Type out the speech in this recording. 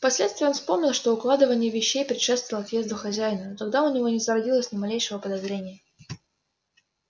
впоследствии он вспомнил что укладывание вещей предшествовало отъезду хозяина но тогда у него не зародилось ни малейшего подозрения